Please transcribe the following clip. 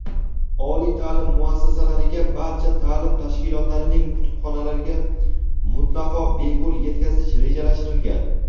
oliy ta’lim muassasalariga — barcha ta’lim tashkilotlarining kutubxonalariga mutlaqo bepul yetkazish rejalashtirilgan.